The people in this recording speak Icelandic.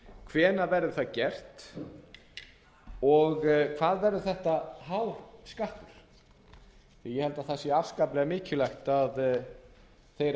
hvenær verður það gert og hvað verður þetta hár skattur ég held að það sé afskaplega mikilvægt að þeir